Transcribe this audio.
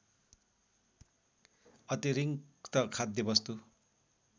अतिरिङ्क्त खाद्य वस्तु